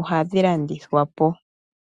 ohadhi landithwapo